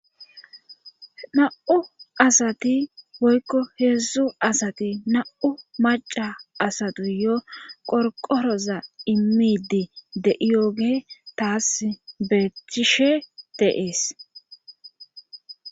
Na7u asati woykko heedzdzu asati na7u maca asatu yo qorqoroza immiidi de7iyooge taas beeththishe de7es.